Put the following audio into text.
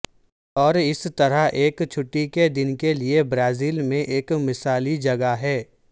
اور اس طرح ایک چھٹی کے دن کے لئے برازیل میں ایک مثالی جگہ ہے